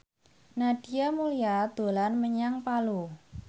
Nadia Mulya dolan menyang Palu